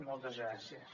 moltes gràcies